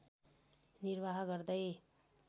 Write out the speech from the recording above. निर्वाह गर्दै